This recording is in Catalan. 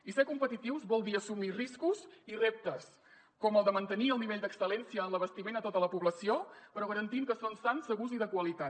i ser competitius vol dir assumir riscos i reptes com el de mantenir el nivell d’excel·lència en l’abastiment a tota la població però garantint que són sans segurs i de qualitat